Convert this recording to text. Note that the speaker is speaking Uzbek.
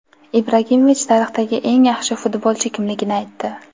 Ibragimovich tarixdagi eng yaxshi futbolchi kimligini aytdi.